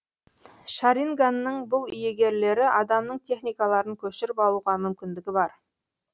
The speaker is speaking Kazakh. шаринганның бұл иегерлері адамның техникаларын көшіріп алуға мүмкіндігі бар